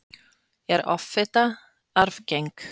er offita arfgeng